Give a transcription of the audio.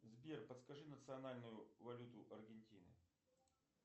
сбер подскажи национальную валюту аргентины